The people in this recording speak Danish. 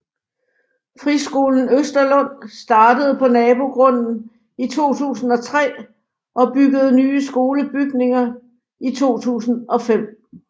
Friskolen Østerlund startede på nabogrunden i 2003 og byggede nye skolebygninger i 2005